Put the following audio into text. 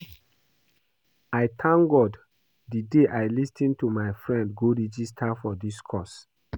I thank God the day I lis ten to my friend go register for dis course